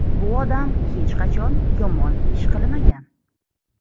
Bu odam hech qachon yomon ish qilmagan.